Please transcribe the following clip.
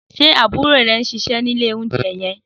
Sé àbúrò ré n síse ni ìlé ounjé yen?